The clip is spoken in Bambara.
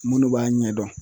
Munnu b'a ɲɛdɔn